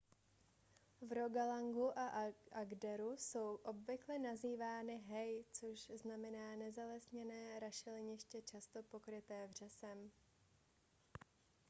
v rogalandu a agderu jsou obvykle nazývány hei což znamená nezalesněné rašeliniště často pokryté vřesem